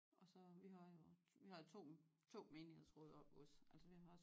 Og så vi har jo vi har 2 2 menighedsråd oppe ved os altså vi har